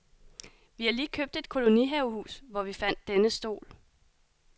Vi har lige købt et kolonihavehus, hvor vi fandt denne stol.